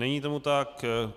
Není tomu tak.